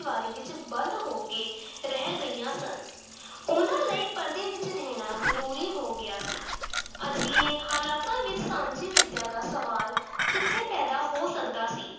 ਦੀਵਾਰੀ ਵਿੱਚ ਬੰਦ ਹੋ ਕੇ ਰਹਿ ਗਈਆਂ ਸਨ ਉਹਨਾਂ ਲਈ ਪਰਦੇ ਵਿੱਚ ਰਹਿਣਾ ਜ਼ਰੂਰੀ ਹੋ ਗਿਆ ਸੀ ਅਜਿਹੇ ਹਾਲਾਤਾਂ ਵਿੱਚ ਸਾਂਝੀ ਵਿੱਦਿਆ ਦਾ ਸਵਾਲ ਕਿੱਥੇ ਪੈਦਾ ਹੋ ਸਕਦਾ ਸੀ।